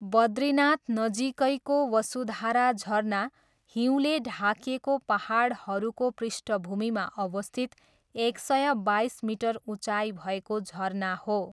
बद्रीनाथ नजिकैको वसुधारा झरना हिउँले ढाकिएको पाहाडहरूको पृष्ठभूमिमा अवस्थित एक सय बाइस मिटर उचाइ भएको झरना हो।